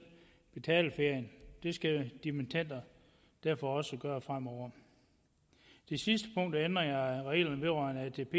betale ferien det skal dimittender derfor også gøre fremover det sidste punkt er ændring af reglerne vedrørende atp